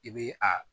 I bɛ a